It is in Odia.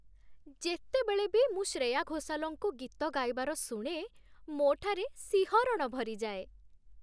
ଯେତେବେଳେ ବି ମୁଁ ଶ୍ରେୟା ଘୋଷାଲ୍‌ଙ୍କୁ ଗୀତ ଗାଇବାର ଶୁଣେ, ମୋଠାରେ ଶିହରଣ ଭରିଯାଏ।